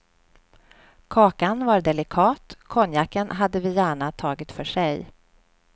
Kakan var delikat, konjaken hade vi gärna tagit för sig.